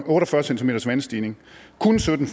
cms vandstigning og kun sytten